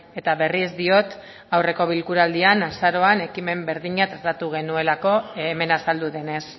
eta berriz diot aurreko bilkuraldian azaroan ekimen berdina tratatu genuelako hemen azaldu denez